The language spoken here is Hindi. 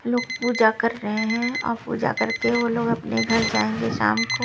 लोग पूजा कर रहे हैं और पूजा करके वो लोग अपने घर जाएँगे शाम को --